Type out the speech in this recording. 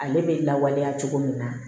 Ale bɛ lawaleya cogo min na